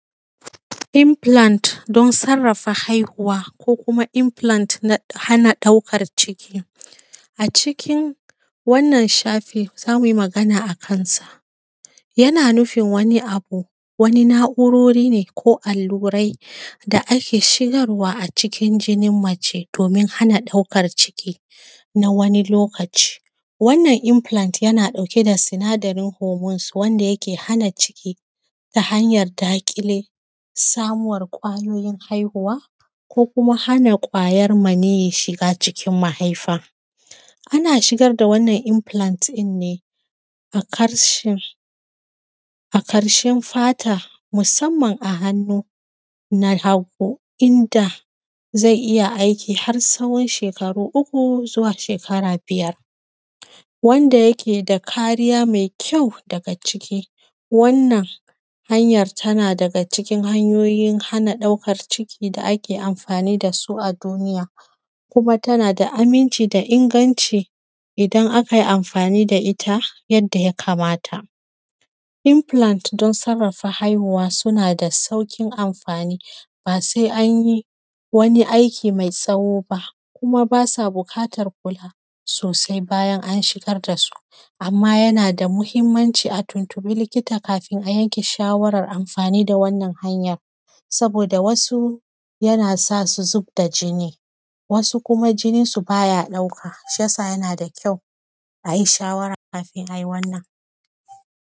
Infilant don sarrafa haihuwa ko kuma infilant na hana ɗaukar ciki. A cikin wannan shafi zamu yi magana akansa. Yana nufin wani abu, wani na’urori ne ko allurai da ake shigarwa a cikin jini mace domin hana ɗaukar ciki na wani lokaci. Wannan infalant yana ɗauke da sinadaran (homus) wanda yake hana ciki, ta hanyar daƙile, samuwar kwayoyin haihuwa ko kuma hana kwayar maniyi shiga cikin mahaifa. Ana shigar da wannan infalant ne aƙarshen fata musamman a hannu na hagu inda zai iya aiki har tsahon shekaru uku zuwa shekara biyar, wanda yake da kariya mai kyau daga ciki, wannan hanyar tana daga cikin hanyoyi hana ɗaukar ciki da ake amfani dasu a duniya, kuma tana da aminci da inganci idan akai amfani da ita yadda ya kamata. Infalant don sarrafa haihuwa suna da saukin amfani ba sai anyi wani aiki mai tsawo ba kuma basa buƙatar kula sosai bayan an shigar dasu, amma yana da muhimmanci a tuntiɓi likita kafin a yanke shawaran amfani da wannan hanyar, saboda wasu yana sa su zubda jini, wasu kuma jininsu baya ɗauka, shiyasa yana da kyau ayi shawara kafin ayi wannan.